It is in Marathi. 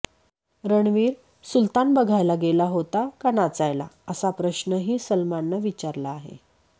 रणवीर सुल्तान बघायला गेला होता का नाचायला असा प्रश्नही सलमाननं विचारला आहे